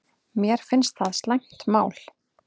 Mér finnst það slæmt mál